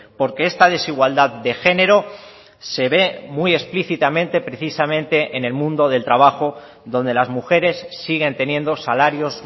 porque esta desigualdad de género se ve muy explícitamente precisamente en el mundo del trabajo donde las mujeres siguen teniendo salarios